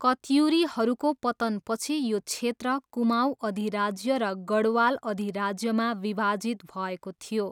कत्युरीहरूको पतनपछि यो क्षेत्र कुमाऊँ अधिराज्य र गढवाल अधिराज्यमा विभाजित भएको थियो।